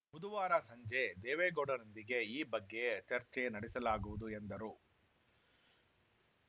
ಬುಧವಾರ ಸಂಜೆ ದೇವೇಗೌಡರೊಂದಿಗೆ ಈ ಬಗ್ಗೆ ಚರ್ಚೆ ನಡೆಸಲಾಗುವುದು ಎಂದರು